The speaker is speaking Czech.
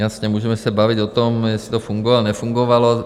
Jasně, můžeme se bavit o tom, jestli to fungovalo, nefungovalo.